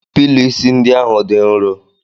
Pilọ isi ndị ahụ dị nro.